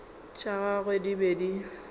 tša gagwe di be di